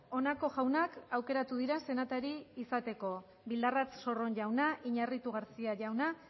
honako jaunak aukeratu dira senatari izateko bildarratz sorron jauna iñarritu garcía jauna